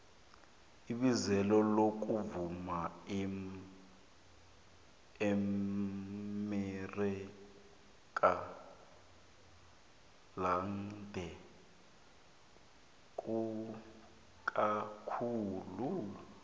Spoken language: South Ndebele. ibizelo lokuvuma eamerika lande kakhulu